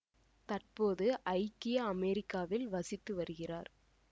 தற்போது ஐக்கிய அமெரிக்காவில் வசித்து வருகிறார்